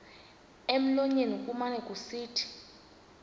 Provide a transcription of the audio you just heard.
emlonyeni kumane kusithi